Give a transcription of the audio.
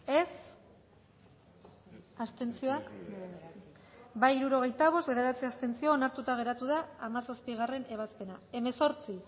dezakegu bozketaren emaitza onako izan da hirurogeita hamalau eman dugu bozka hirurogeita bost boto aldekoa bederatzi abstentzio onartuta geratu da hamazazpigarrena ebazpena hemezortzi